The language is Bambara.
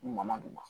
Man d'u ma